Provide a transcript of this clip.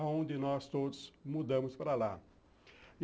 onde nós todos mudamos para lá.